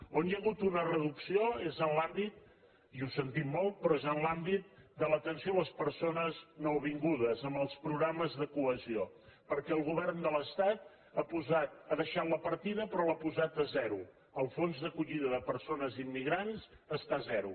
on hi ha hagut una reducció i ho sentim molt però és en l’àmbit de l’atenció a les persones nouvingudes en els programes de cohesió perquè el govern de l’es·tat ha deixat la partida però l’ha posat a zero el fons d’acollida de persones immigrants està a zero